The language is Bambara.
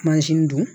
dun